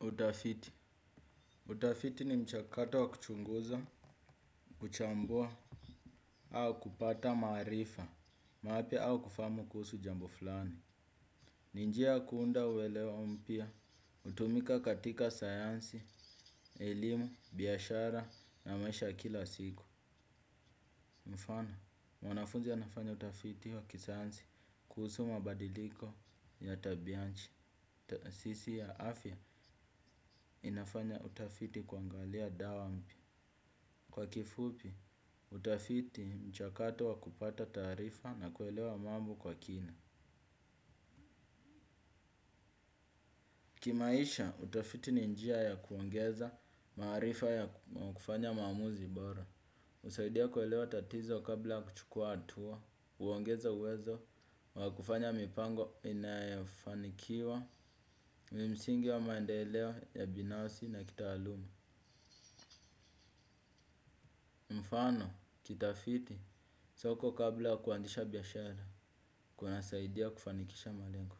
Utafiti. Utafiti ni mchakato wa kuchunguza, kuchambua, au kupata maarifa mapya au kufahamu kuhusu jambo fulani. Ni njia kuunda uelewa mpya, hutumika katika sayansi, elimu, biashara na maisha kila siku. Mfano, mwanafunzi anafanya utafiti wa kisayansi kuhusu mabadiliko ya tabia ya nchi. Taasisi ya afya inafanya utafiti kuangalia dawa mpya. Kwa kifupi, utafiti mchakato wa kupata taarifa na kuelewa mambo kwa kina. Kimaisha, utafiti ni njia ya kuongeza maarifa ya kufanya maamuzi bora. Husaidia kuelewa tatizo kabla kuchukua atua, uongeza uwezo, wa kufanya mipango inafanikiwa, mimsingi wa maendeleo ya binasi na kitaaluma. Mfano, kitafiti, soko kabla kuanzisha biashara, kuna saidia kufanikisha malengo.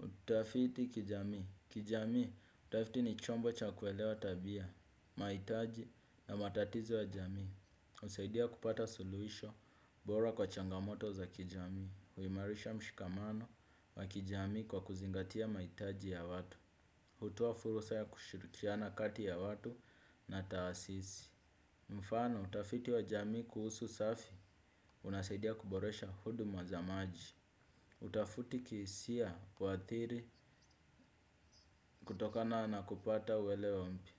Kitafiti kijamii, kijamii, utafiti ni chombo cha kuelewa tabia, maitaji na matatizo ya jamii. Usaidia kupata suluhisho bora kwa changamoto za kijamii, huimarisha mshikamano wa kijamii kwa kuzingatia maitaji ya watu. Hutla furusa ya kushirikiana kati ya watu na taasisi. Mfano, utafiti wa jami kuhusu usafi unasaidia kuboresha huduma za maji. Utafuti kisia wathiri kutokana na kupata welewampi.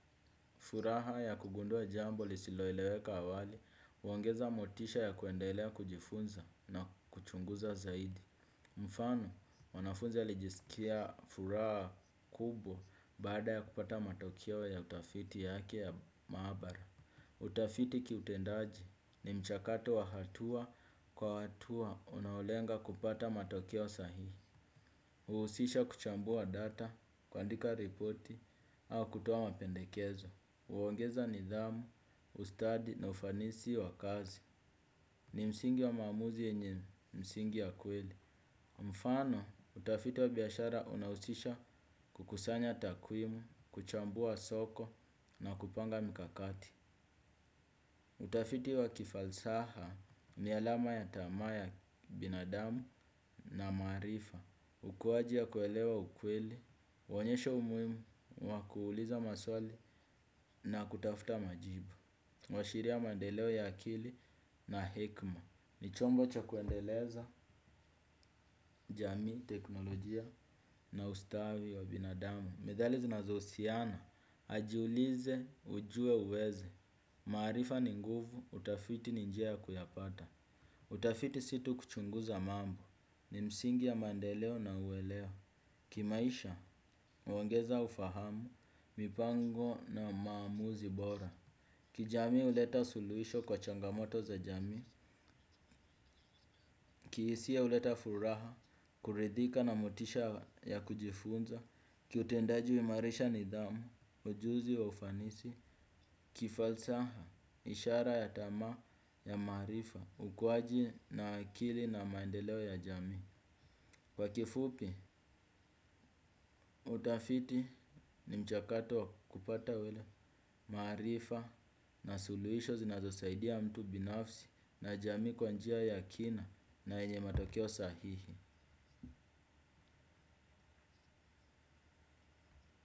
Furaha ya kugundua jambo lisiloeleweka awali, uongeza motisha ya kuendelea kujifunza na kuchunguza zaidi. Mfano, mwanafunzi alijisikia furaha kubwa baada ya kupata matokeo ya utafiti yake ya maabara. Utafiti kiutendaji ni mchakato wa hatua kwa hatua unaolenga kupata matokeo sahihi. Huusisha kuchambua data, kuandika repoti, au kutoa mapendekezo. Huongeza nidhamu, ustadi na ufanisi wa kazi. Ni msingi wa maamuzi yenye msingi ya kweli. Mfano, utafiti wa biashara unausisha kukusanya takwimu, kuchambua soko na kupanga mikakati. Utafiti wa kifalsaha ni alama ya tamaa ya binadamu na maarifa. Ukuwaji ya kuelewa ukweli, uonyesha umuimu, wa kuuliza maswali na kutafuta majibu. Huashiria mandeleo ya akili na hekma. Ni chombo cha kuendeleza jamii, teknolojia na ustawi wa binadamu. Medhali zinazousiana, ajiulize ujue uweze. Maarifa ni nguvu utafiti ni njia ya kuyapata. Utafiti situ kuchunguza mambo, ni msingi ya mandeleo na uwelewa. Kimaisha, uongeza ufahamu, mipango na maamuzi bora. Kijamii uleta suluhisho kwa changamoto za jamii. Kiisia uleta furaha, kuridhika na motisha ya kujifunza. Kiutendaji huimarisha nidhamu, ujuzi wa ufanisi. Kifalsaha, ishara ya tamaa ya maarifa. Ukuaji na akili na mandeleo ya jamii. Kwa kifupi, utafiti ni mchakato wa kupata wele maarifa na suluhisho zinazosaidia mtu binafsi na jamii kwa njia ya kina na yenye matokeo sahihi.